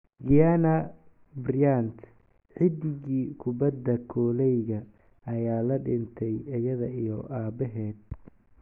Gianna Bryant: Xidigii kubbadda koleyga ayaa la dhintay ayada iyo aabaheed